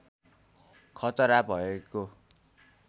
खतरा भएको